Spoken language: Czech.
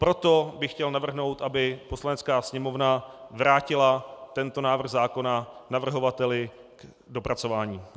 Proto bych chtěl navrhnout, aby Poslanecká sněmovna vrátila tento návrh zákona navrhovateli k dopracování.